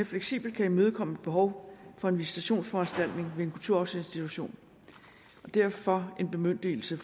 fleksibelt kan imødekomme et behov for en visitationsforanstaltning ved en kulturarvsinstitution og derfor en bemyndigelse